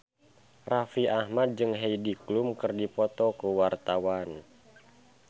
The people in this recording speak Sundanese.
Raffi Ahmad jeung Heidi Klum keur dipoto ku wartawan